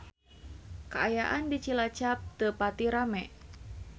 Kaayaan di Cilacap teu pati rame